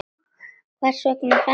Hvers vegna fermist þú?